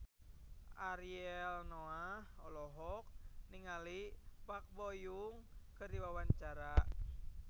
Ariel Noah olohok ningali Park Bo Yung keur diwawancara